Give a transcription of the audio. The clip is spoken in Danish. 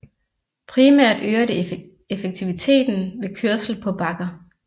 Primært øger det effektiviteten ved kørsel på bakker